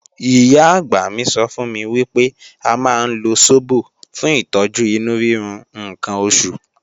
Ìyá-àgbà mi sọ fún mi wípé a máa ń lo sóbò fún ìtọ́jú inú rírun ǹkan oṣù